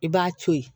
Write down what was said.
I b'a to ye